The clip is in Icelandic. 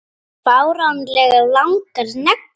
Fáránlega langar neglur.